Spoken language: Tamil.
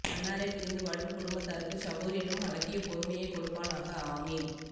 அன்னாரை பிரிந்து வாடும் குடும்பத்தாருக்கு ஸபூர் எனும் அழகிய பொருமையைக்கொடுப்பானாக ஆமீன்